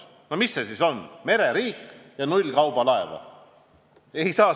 No mis see siis on – mereriik ja null kaubalaeva!